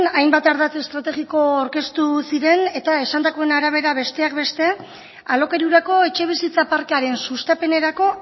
hainbat ardatz estrategiko aurkeztu ziren eta esandakoen arabera besteak beste alokairurako etxebizitza parkearen sustapenerako